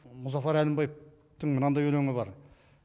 мұзафар әлімбаев мынандай өлеңі бар